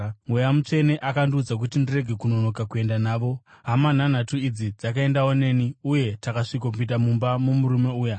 Mweya Mutsvene akandiudza kuti ndirege kunonoka kuenda navo. Hama nhanhatu idzi dzakaendawo neni, uye takasvikopinda mumba momurume uya.